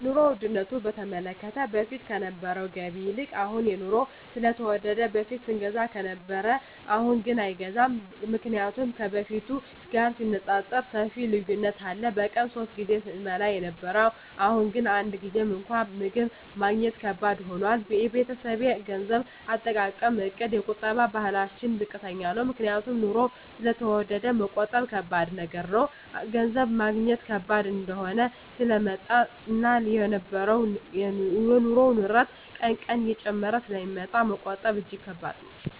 የኑሮ ዉድነቱ በተመለከተ በፊት ከነበረዉ ገቢ ይልቅ አሁን የኑሮዉ ስለተወደደ በፊት ስንገዛ ከነበረ አሁንግን አይገዛም ምክንያቱም ከበፊቱ ጋር ሲነፃፀር ሰፊ ልዩነት አለ በቀን ሶስት ጊዜ ስንበላ የነበረዉ አሁን ግን አንድ ጊዜም እንኳን ምግብ ማግኘት ከባድ ሆኗል የቤተሰቤ የገንዘብ አጠቃቀምእቅድ የቁጠባ ባህላችን ዝቅተኛ ነዉ ምክንያቱም ኑሮዉ ስለተወደደ መቆጠብ ከባድ ነገር ነዉ ገንዘብ ማግኘት ከባድ እየሆነ ስለመጣእና የኑሮዉ ንረት ቀን ቀን እየጨመረ ስለሚመጣ መቆጠብ እጂግ ከባድ ነዉ